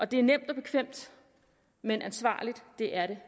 det er nemt og bekvemt men ansvarligt er det